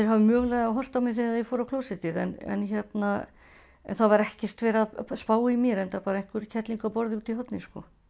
hafi mögulega horft á mig þegar þeir fóru á klósettið en það var ekkert verið að spá í mér enda bara einhver kerling úti í horni